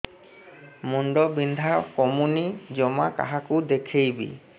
ମୁଣ୍ଡ ବିନ୍ଧା କମୁନି ଜମା କାହାକୁ ଦେଖେଇବି